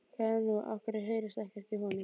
Hvað er nú, af hverju heyrist ekkert í honum?